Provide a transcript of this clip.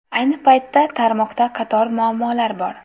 Ayni paytda, tarmoqda qator muammolar bor.